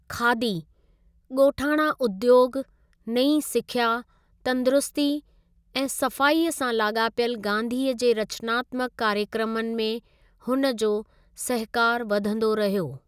खादी, ॻोठाणा उद्योग, नई सिख्या, तंदरुस्ती ऐं सफ़ाईअ सां लाॻापियल गांधीअ जे रचनात्मक कार्यक्रमनि में हुन जो सहिकारु वधंदो रहियो।